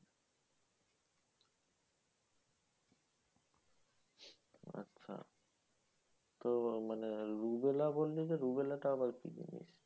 হ্যাঁ তো মানে rubella বললে যে, rubella টা আবার কি?